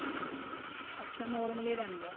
ਅੱਛਾ normal ਏ ਰਹਿੰਦਾ